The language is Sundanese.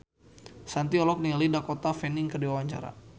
Shanti olohok ningali Dakota Fanning keur diwawancara